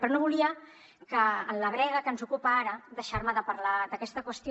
però no volia que en la brega que ens ocupa ara deixar me de parlar d’aquesta qüestió